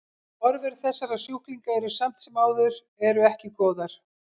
Horfur þessara sjúklinga eru samt sem áður eru ekki góðar.